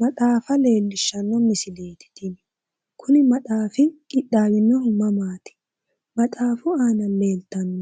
Maxaafa leellishanno misileeti tini, kuni maxaafi qixxaawinohu mamaati? maxaafu aana leeltanno